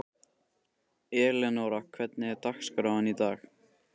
Elenóra, hvernig er dagskráin í dag?